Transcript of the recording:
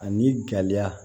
Ani gɛlɛya